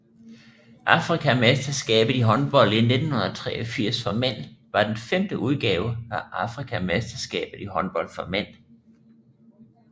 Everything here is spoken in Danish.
Afrikamesterskabet i håndbold 1983 for mænd var den femte udgave af Afrikamesterskabet i håndbold for mænd